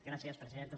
gràcies presidenta